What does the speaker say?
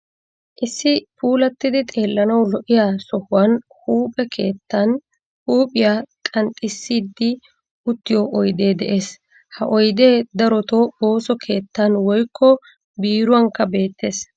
Issi puulattidi xeellanawu lo''iya sohuwan huuphee keettan huuphiya qanxxissiiddi uttiyo oydee de'ees. Ha oydee darotoo ooso keettan woykko biiruwankka beettees.